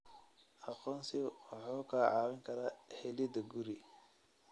Aqoonsigu wuxuu kaa caawin karaa helida guri.